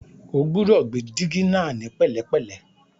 O gbúdọ̀ gbé dígí náà ní pẹ̀lẹ́pẹ̀lẹ́.